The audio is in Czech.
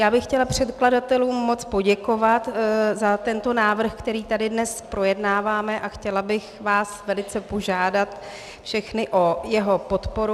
Já bych chtěla předkladatelům moc poděkovat za tento návrh, který tady dnes projednáváme, a chtěla bych vás velice požádat všechny o jeho podporu.